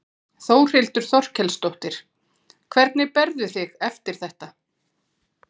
Þórhildur Þorkelsdóttir: Hvernig berðu þig eftir þetta?